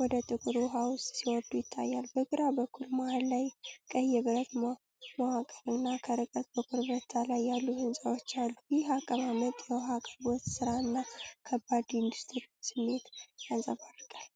ወደ ጥቁር ውሃ ውስጥ ሲወርዱ ይታያሉ። በግራ በኩል መሃል ላይ ቀይ የብረት መዋቅርና ከርቀት በኮረብታ ላይ ያሉ ሕንፃዎች አሉ። ይህ አቀማመጥ የውሃ አቅርቦት ሥራንና ከባድ ኢንዱስትሪን ስሜት ያንጸባርቃል።